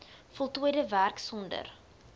voltooide werk sonder